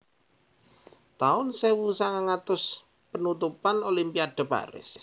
taun sewu sanganga atus Penutupan Olimpiade Paris